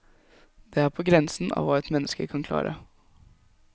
Det er på grensen av hva et menneske kan klare.